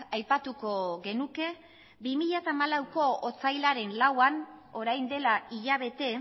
aipatuko genuke bi mila hamalauko otsailaren lauan orain dela hilabete